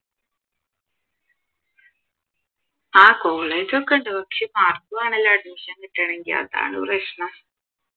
ആഹ് college ക്കെ ഉണ്ട് പക്ഷെ മാർക്ക് വേണോല്ലോ admission കിട്ടണമെങ്കിൽ അതാണ് പ്രശ്നം